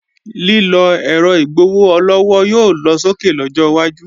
Lílọ ẹ̀rọ igbowó-ọlọ́wọ́ yóò lọsókè lọ́jọ́ wájú